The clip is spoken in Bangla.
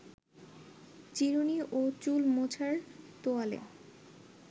চিরুনি ও চুল মোছার তোয়ালে